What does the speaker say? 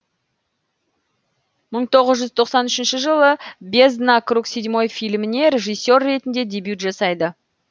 мың тоғыз жүз тоқсан үшінші жылы бездна круг седьмой фильміне режиссер ретінде дебют жасайды